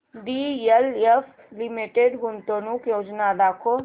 DLF limited गुंतवणूक योजना दाखव